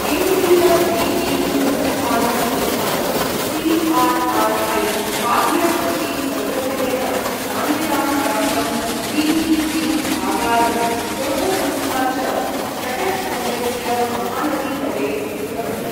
केन्द्रीय व्रीहि अनुसन्धान संस्थानं सि.आर्.आर्.ऐ, खाद्य कृषि सङ्गठनेन मान्यतां प्राप्तं, व्रीहि जीन् आगारं शोधसंस्था च, कटक् नगरस्य महानदीतटे स्थितम् अस्ति।